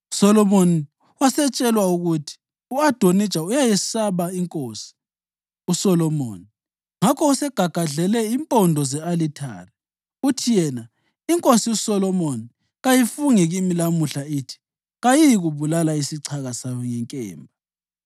USolomoni wasetshelwa ukuthi, “U-Adonija uyayesaba iNkosi uSolomoni ngakho usegagadlele impondo ze-alithare. Uthi yena, ‘INkosi uSolomoni kayifunge kimi lamuhla ithi kayiyikubulala isichaka sayo ngenkemba.’ ”